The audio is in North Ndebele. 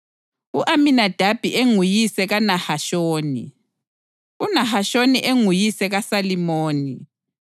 u-Aminadabi enguyise kaNahashoni, uNahashoni enguyise kaSalimoni,